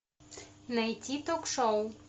найти ток шоу